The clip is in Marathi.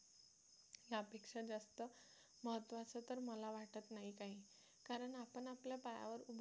त्यापेक्षा जास्त महत्त्वाचं तर मला वाटत नाही काही कारण आपण आपल्या पायावर उभा असणार